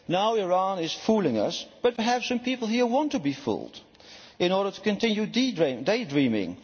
Now Iran is fooling us, but perhaps people here want to be fooled in order to continue day dreaming.